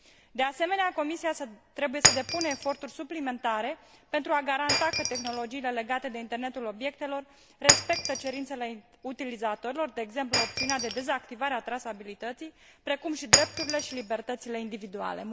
De asemenea, Comisia trebuie să depună eforturi suplimentare pentru a garanta că tehnologiile legate de internetul obiectelor respectă cerințele utilizatorilor, de exemplu, opțiunea de dezactivare a trasabilității, precum și drepturile și libertățile individuale.